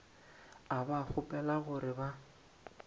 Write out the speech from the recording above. a ba kgopela gore ba